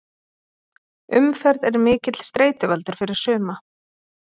Umferð er mikill streituvaldur fyrir suma.